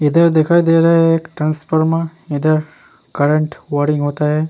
इधर दिखाई दे रहा है एक ट्रांसफार्मर इधर करंट वार्मिंग होता है।